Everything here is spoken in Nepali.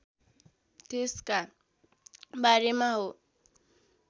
त्यसका बारेमा हो